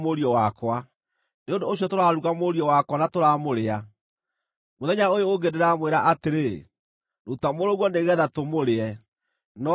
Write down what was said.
Nĩ ũndũ ũcio tũraruga mũriũ wakwa na tũramũrĩa. Mũthenya ũyũ ũngĩ ndĩramwĩra atĩrĩ, ‘Ruta mũrũguo nĩgeetha tũmũrĩe,’ no aramũhitha.”